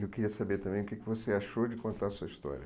Eu queria saber também o que que você achou de contar a sua história.